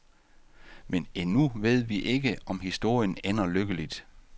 Men endnu ved vi ikke, om historien ender lykkeligt.